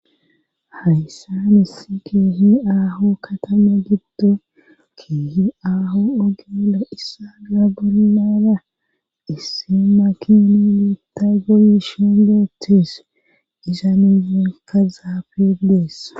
hayssanesi keehi aaho katama gibdo keehi aho ogele issaa gaa gonnaana issi ma kini niitta goli shingetes isanizenka zaafedeessa